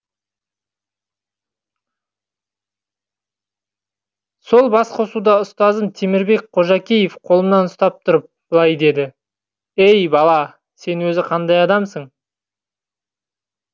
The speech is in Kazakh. сол бас қосуда ұстазым темірбек қожакеев қолымнан ұстап тұрып былай деді әй бала сен өзі қандай адамсың